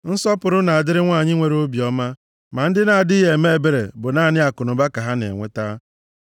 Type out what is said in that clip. Nsọpụrụ na-adịrị nwanyị nwere obiọma, ma ndị na-adịghị eme ebere bụ naanị akụnụba ka ha na-enweta.